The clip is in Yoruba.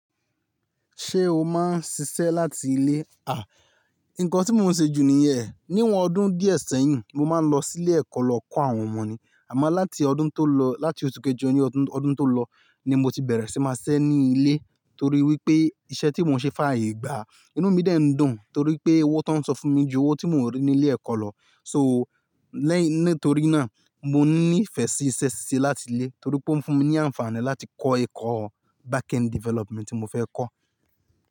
Ṣé o máa ń ṣiṣẹ́ láti ilé? Nǹkan tí mo ń ṣe jù níyẹ̀n, níwọn ọdún díẹ̀ sẹ́yìn mo máa ń lọ sí ilé ẹ̀kọ́ lọ kọ́ àwọn ọmọ ní, àmọ́ láti ọdún tó lọ, láti oṣù kejọ ní ọdún, ọdún tó lọ ni mo ti bẹ̀rẹ̀ sí máa siṣẹ́ ní ilé torí wípé iṣẹ́ tí mo ń ṣe fàayè gbà á, inú mi de ń dùn torí pé owó tó ń san fún mi ju owó tí mo ń rí ní ilé ẹ̀kọ́ lọ. So lẹ́yìn, nítorí náà mo ní ìfẹ́ sí iṣẹ́ ṣíṣe láti ilé torí pé ó ń fún mi ní àǹfààní láti kọ́ ẹ̀kọ́ backend development tí mo fẹ́ kọ́